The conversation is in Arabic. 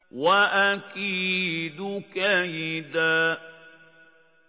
وَأَكِيدُ كَيْدًا